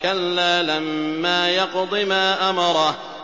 كَلَّا لَمَّا يَقْضِ مَا أَمَرَهُ